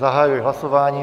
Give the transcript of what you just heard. Zahajuji hlasování.